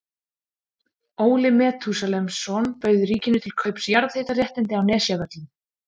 Óli Metúsalemsson bauð ríkinu til kaups jarðhitaréttindi á Nesjavöllum.